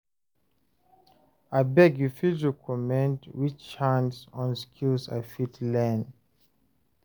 abeg you fit recommend which hands-on skills I fit learn?